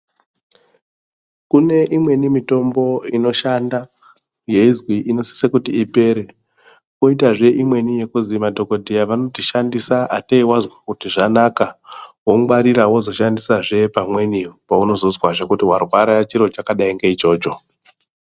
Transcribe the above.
Kune imweni mitombo inoshanda yeizwi inosise kuti ipere. Poitazve imweni yekuzi madhogodheya vanoti shandisa atei wazwa kuti zvanaka wongwarira wozoshandisazve pamweni paunozozwazve kuti warwara chiro chakadai ngeichocho.